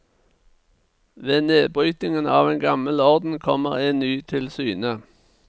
Ved nedbrytingen av en gammel orden kommer en ny til syne.